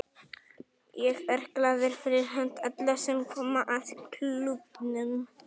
Ég er glaður fyrir hönd allra sem koma að klúbbnum.